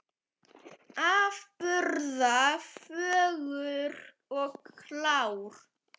Afburða fögur og klár.